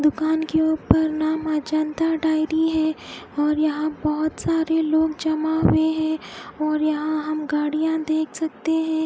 दुकान के उपर नामा जानता डायरी है और यहा बहोत सारे लोग जमा हुए है और यहा हम गाड़िया देख सकते है।